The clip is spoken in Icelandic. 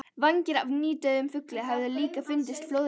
Vængir af nýdauðum fugli höfðu líka fundist flóðreki.